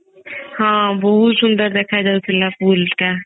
ହଁ ବହୁତ ସୁନ୍ଦର ଦେଖା ଯାଉଥିଲା pool ଟା